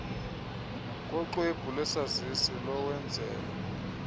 noxwebhu lwesazisi lowenzelwa